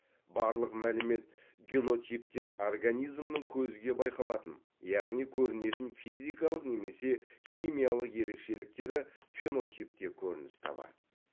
барлық мәлімет генотиптен организмнің көзге байқалатын яғни көрінетін физикалық немесе химиялық ерекшеліктері фенотипте көрініс табады